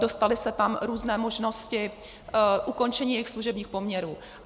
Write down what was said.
Dostaly se tam různé možnosti ukončení jejich služebních poměrů.